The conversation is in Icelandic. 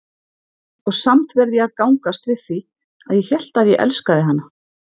Og samt verð ég að gangast við því, að ég hélt ég elskaði hana.